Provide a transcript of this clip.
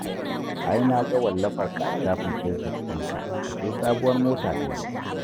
Ai na ga wallafarka a shafin Fesbuk ɗinka, ashe sabuwar mota ka yi